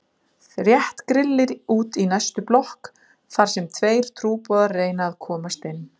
Rétt grillir út í næstu blokk þar sem tveir trúboðar reyna að komast inn.